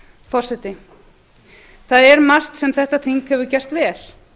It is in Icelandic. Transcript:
forseti það er margt sem þetta þing hefur gert vel